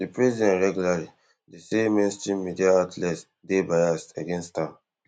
di president regularly dey say mainstream media outlets dey biased against am